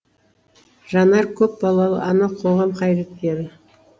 жанар көпбалалы ана қоғам қайраткері